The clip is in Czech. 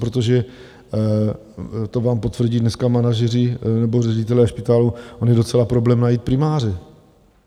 Protože, to vám potvrdí dneska manažeři nebo ředitelé špitálů, on je docela problém najít primáře.